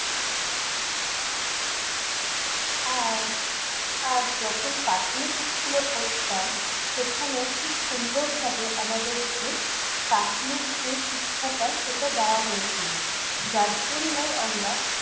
আর আর, যখন প্রাথমিক school এ পড়তাম, সেখানেও খুব সুন্দরভাবে আমাদেরকে প্রাথমিক যে শিক্ষাটা সেটা দেওয়া হয়েছিল। যার জন্যই আমরা